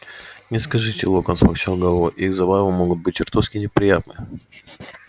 не скажите локонс покачал головой их забавы могут быть чертовски неприятны